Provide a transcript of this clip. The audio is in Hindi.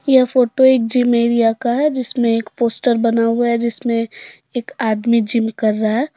यह फोटो एक जिम एरिया का है जिसमें एक पोस्टर बना हुआ है जिसमें एक आदमी जिम कर रहा है।